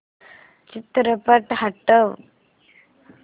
चित्रपट हटव